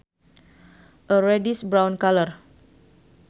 A reddish brown color